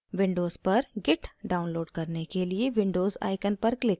windows पर git download करने के लिए windows icon पर click करें